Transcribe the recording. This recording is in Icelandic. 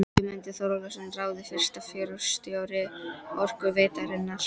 Guðmundur Þóroddsson ráðinn fyrsti forstjóri Orkuveitunnar.